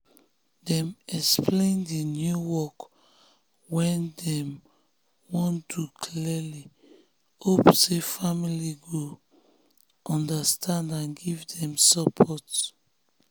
dem explain di new work wey dem wan do clearly hope say family go understand and give them support.